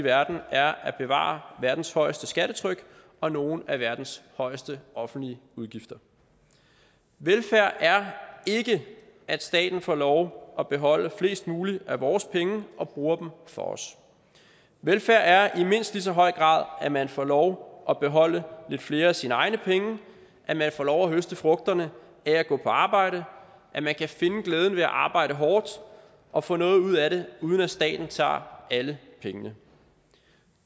i verden er at bevare verdens højeste skattetryk og nogle af verdens højeste offentlige udgifter velfærd er ikke at staten får lov at beholde flest mulige af vores penge og bruger dem for os velfærd er i mindst lige så høj grad at man får lov at beholde lidt flere af sine egne penge at man får lov at høste frugterne af at gå på arbejde at man kan finde glæden ved at arbejde hårdt og få noget ud af det uden at staten tager alle pengene